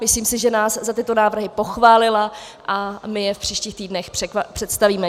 Myslím si, že nás za tyto návrhy pochválila, a my je v příštích týdnech představíme.